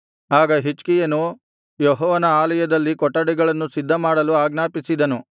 ಆಗ ಹಿಜ್ಕೀಯನು ಯೆಹೋವನ ಆಲಯದಲ್ಲಿ ಕೊಠಡಿಗಳನ್ನು ಸಿದ್ಧಮಾಡಲು ಆಜ್ಞಾಪಿಸಿದನು